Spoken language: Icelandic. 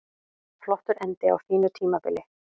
Flottur endir á fínu tímabili